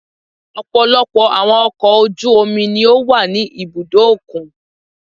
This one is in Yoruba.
Ọ̀pọ̀lọpọ̀ àwọn ọkọ̀ ojú omi ni ó wà ní ibùdó òkun.